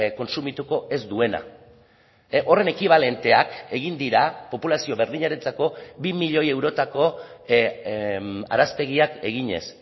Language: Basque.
kontsumituko ez duena horren ekibalenteak egin dira populazio berdinarentzako bi milioi eurotako araztegiak eginez